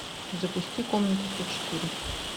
запусти комнату сто четыре